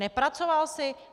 Nepracoval jsi?